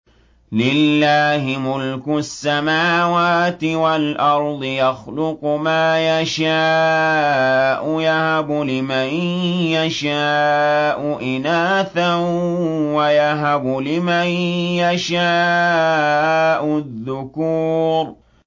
لِّلَّهِ مُلْكُ السَّمَاوَاتِ وَالْأَرْضِ ۚ يَخْلُقُ مَا يَشَاءُ ۚ يَهَبُ لِمَن يَشَاءُ إِنَاثًا وَيَهَبُ لِمَن يَشَاءُ الذُّكُورَ